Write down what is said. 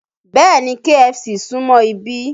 Bẹ́ẹ̀ni, KFC súmọ́ ibí